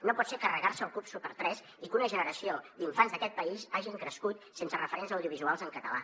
no pot ser carregar se el club super3 i que una generació d’infants d’aquest país hagin crescut sense referents audiovisuals en català